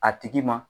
A tigi ma